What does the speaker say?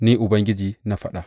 Ni Ubangiji na faɗa.